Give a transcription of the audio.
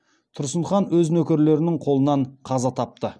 тұрсын хан өз нөкерлерінің қолынан қаза тапты